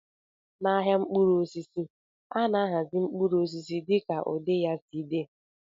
N'ahịa mkpụrụ osisi, a na-ahazi mkpụrụ osisi dịka ụdị ya si dị.